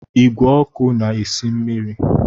Igwe ọkụ na esi mmiri